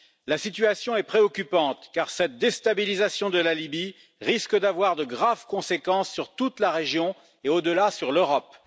La situation est préoccupante, car cette déstabilisation de la Libye risque d'avoir de graves conséquences sur toute la région et au delà sur l'Europe.